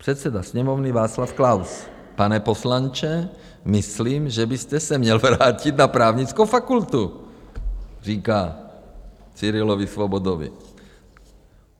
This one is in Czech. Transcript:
Předseda Sněmovny Václav Klaus: Pane poslanče, myslím, že byste se měl vrátit na právnickou fakultu, říká Cyrilovi Svobodovi.